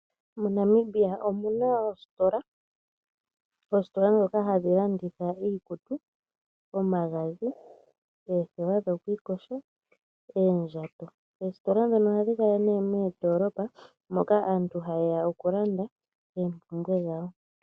MoNamibia omuna oositola dhoka hadhi landitha iikutu, omagadhi, oothewa dhokwiiyoga noondjato, oositola dhino ohadhi kala moondoolopa moka aantu hayeya okulanda oopumbwe dhawo.